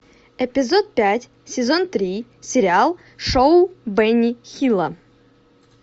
эпизод пять сезон три сериал шоу бенни хилла